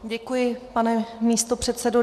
Děkuji, pane místopředsedo.